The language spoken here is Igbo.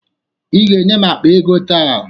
Ị ga-enye m akpa ego taa!